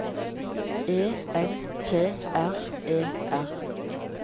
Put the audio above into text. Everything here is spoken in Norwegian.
E N T R E R